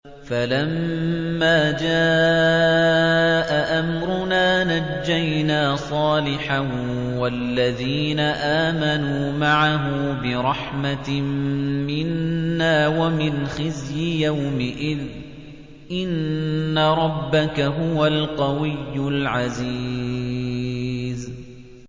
فَلَمَّا جَاءَ أَمْرُنَا نَجَّيْنَا صَالِحًا وَالَّذِينَ آمَنُوا مَعَهُ بِرَحْمَةٍ مِّنَّا وَمِنْ خِزْيِ يَوْمِئِذٍ ۗ إِنَّ رَبَّكَ هُوَ الْقَوِيُّ الْعَزِيزُ